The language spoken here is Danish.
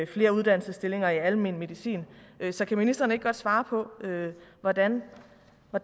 flere uddannelsesstillinger i almen medicin så kan ministeren ikke godt svare på hvordan